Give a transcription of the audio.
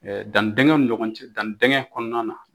Dannidingɛnw ni ɲɔgɔn cɛ danni kɔnɔna na.